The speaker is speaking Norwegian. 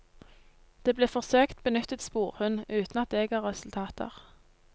Det ble forsøkt benyttet sporhund, uten at det ga resultater.